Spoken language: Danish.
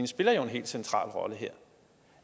spiller jo en helt central rolle her